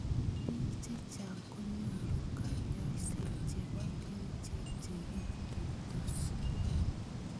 Bik chechang konyouru kanyoiset chebo kerichek chekitutos.